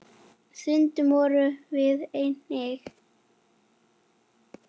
Stundum vorum við einir.